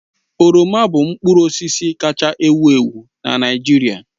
Oroma bụ mkpụrụ osisi kaacha ewu ewu na Naịjirịa